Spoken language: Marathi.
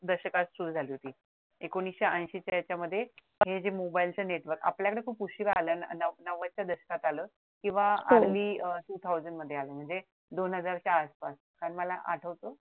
दशकात सुरु झाली होती एकोणविशे ऐशी च्या ह्यांच्यामध्ये हे जे मोबाइल च network आपल्याकडे खूप उशिरा आलं ना नव्वद च्या दशकात आलं किंवा दोन हजारच्या आसपास आणि मला आठवत